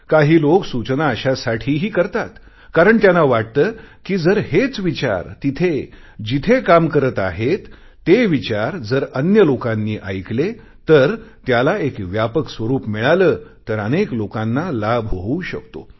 काही लोक सूचना अशासाठीही करतात कारण त्यांना वाटते जर हेच विचार तिथे जिथे काम करत आहेत ते विचार जर अन्य लोकांनी ऐकले आणि त्याला एक व्यापक स्वरूप मिळाले तर अनेक लोकांना लाभ होऊ शकतो